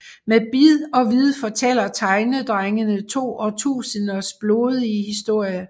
Med bid og vid fortæller Tegnedrengene to årtusinders blodige historie